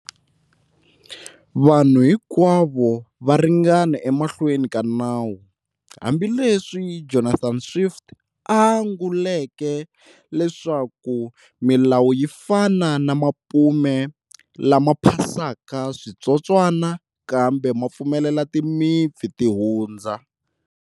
Vanhu hinkwavo va ringana emahlweni ka Nawu', hambi leswi Jonathan Swift a anguleke leswaku 'Milawu yixana na mapume, lama phasaka switsotswana, kambe ma pfumela timimpfi ti hundza.'